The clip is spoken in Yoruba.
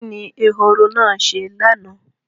Kí ni ehoro náà ṣe lánàá?